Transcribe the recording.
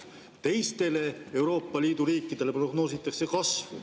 Teistele Euroopa Liidu riikidele prognoositakse kasvu.